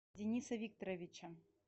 дениса викторовича